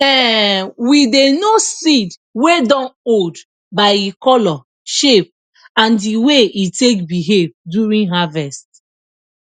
um we dey know seed wey dun old by e color shape and the way e take behave during harvest